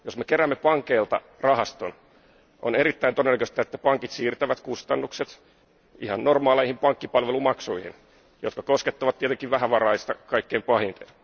Jos me keräämme pankeilta rahaston, on erittäin todennäköistä, että pankit siirtävät kustannukset ihan normaaleihin pankkipalvelumaksuihin, jotka koskettavat tietenkin vähävaraista kaikkein pahiten.